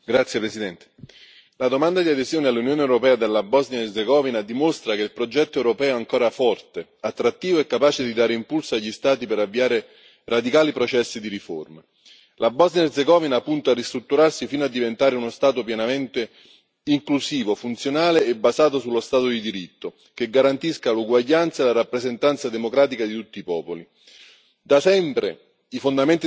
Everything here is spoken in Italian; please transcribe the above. Signora Presidente, onorevoli colleghi, la domanda di adesione all'Unione europea della Bosnia Erzegovina dimostra che il progetto europeo è ancora forte, attrattivo e capace di dare impulso agli Stati per avviare radicali processi di riforma. La Bosnia Erzegovina ha puntato a ristrutturarsi fino a diventare uno Stato pienamente inclusivo, funzionale e basato sullo Stato di diritto, che garantisca l'uguaglianza e la rappresentanza democratica di tutti i popoli.